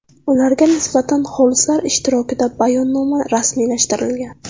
Ularga nisbatan xolislar ishtirokida bayonnoma rasmiylashtirilgan.